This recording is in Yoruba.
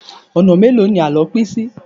Ọ̀nà mélòó ni àlọ́ pín sí?